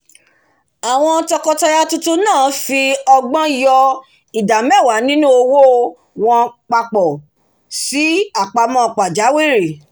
àwọn tọkọtaya tuntun náà fi ọgbọ́n yo ida meewa nínú owó wọ́n papọ̀ sí apamọ́ pajawirí